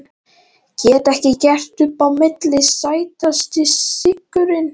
Get ekki gert upp á milli Sætasti sigurinn?